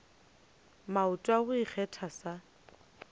maoto a go ikgetha sa